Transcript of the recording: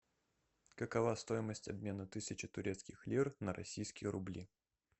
какова стоимость обмена тысячи турецких лир на российские рубли